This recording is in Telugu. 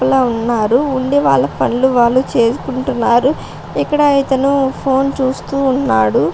ఉన్నారు. ఉండి వాళ్ళ పనులు వాళ్ళు చేసుకుంటున్నారు. ఇక్కడ ఇతను ఫోన్ చూస్తూ ఉన్నాడు.